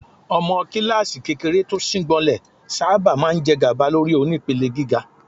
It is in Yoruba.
Ọmọ kíláàsì kékeré tó síngbọnlẹ̀ sábà máa ń jẹgàba lórí onípele gíga.